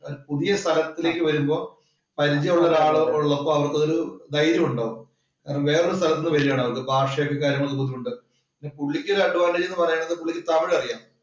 പുതിയ സ്ഥലത്തിലേക്ക് വരുമ്പോൾ പരിചയമുള്ള ഒരാള് ഉള്ളപ്പോ അവര്ക്കത് ധൈര്യണ്ടോ. വേറെ ഒരു സ്ഥലത്ത് നിന്ന് വരികയാണ്‌ അവര് ഭാഷേം കാര്യങ്ങളും ഒക്കെ ഉണ്ട്. പുള്ളിക്ക് ഒരു advantage എന്ന് പറയുന്നത് പുള്ളിക്ക് തമിഴ് അറിയാം.